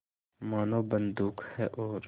मानो बंदूक है और